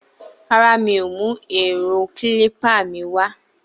Rárá, mi o mú èro kílípà mi wá